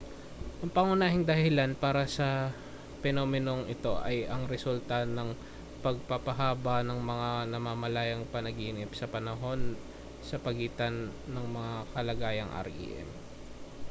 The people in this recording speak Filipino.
ang pangunahing dahilan para sa penomenong ito ay ang resulta ng pagpapahaba ng mga namamalayang panaginip sa panahon sa pagitan ng mga kalagayang rem